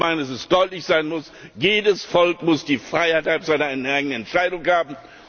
Ich meine, dass es deutlich sein muss Jedes Volk muss die Freiheit seiner eigenen Entscheidung haben.